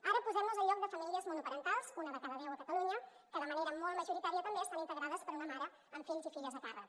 ara posem nos al lloc de famílies monoparentals una de cada deu a catalunya que de manera molt majoritària també estan integrades per una mare amb fills i filles a càrrec